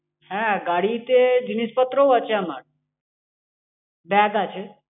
হ্যাঁ, গাড়িতে জিনিসপত্রও আছে আমার ব্যাগ আছে।